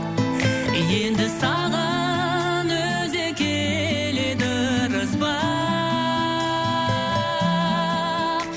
енді саған өзі келеді ырыс бақ